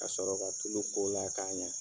Ka sɔrɔ ka tulu k'o la k'a ɲa.